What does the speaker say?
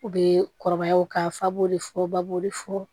U bɛ kɔrɔbaya u ka fa b'olu fɔ ba bo de fu